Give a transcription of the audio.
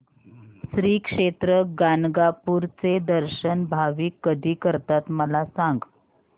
श्री क्षेत्र गाणगापूर चे दर्शन भाविक कधी करतात मला सांग